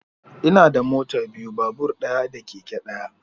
Ina da mota biyu, babur ɗaya da keke ɗaya